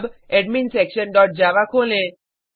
अब admin section dot Java खोलें